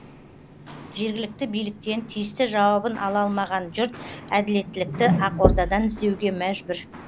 жергілікті биліктен тиісті жауабын ала алмаған жұрт әділеттілікті ақордадан іздеуге мәжбүр